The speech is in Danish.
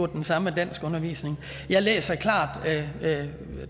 den samme danskundervisning jeg læser klart